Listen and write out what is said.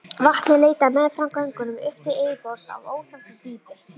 Vatnið leitaði meðfram göngunum upp til yfirborðs af óþekktu dýpi.